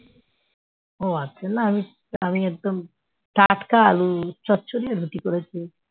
ও আজকে না আমি আমি একদম টাটকা আলু চচ্চড়ি রুটি করেছি